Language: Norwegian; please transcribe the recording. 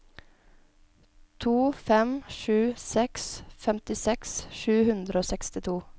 to fem sju seks femtiseks sju hundre og sekstito